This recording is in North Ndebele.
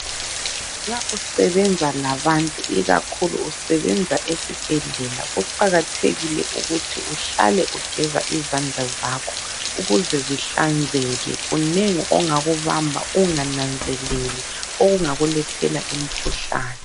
Nxa usebenza labantu ikakhulu usebenza esibhedlela kuqakathekile ukuthi uhlale ugeza izandla zakho ukuze zihlanzeke. Kunengi ongakubamba ungananzeleli okungakulethela imkhuhlane.